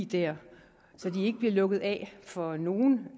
der og så de ikke bliver lukket af for nogen